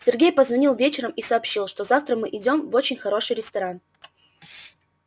сергей позвонил вечером и сообщил что завтра мы идём в очень хороший ресторан